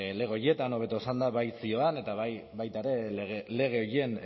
lege horietan hobeto esanda bai zioan eta baita ere lege horien